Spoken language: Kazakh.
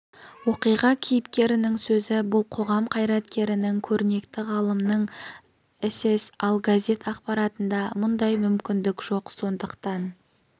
оқиға кейіпкерінің сөзі бұл қоғам қайраткерінің көрнекті ғалымның сс ал газет ақпаратында мұндай мүмкіндік жоқ сондықтан